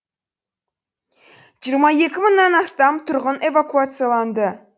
жиырма екі мыңнан астам тұрғын эвакуацияланды